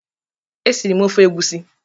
E siri m ofe egwusi.